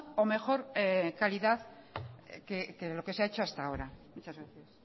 o mejor calidad que lo que se ha hecho hasta ahora muchas gracias